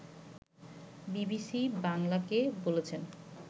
BBC বাংলাকে বলেছেন